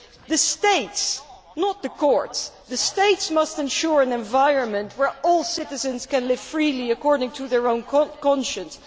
The states not the courts, the states must ensure an environment where all citizens can live freely, according to their own conscience.